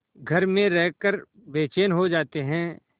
घर में रहकर बेचैन हो जाते हैं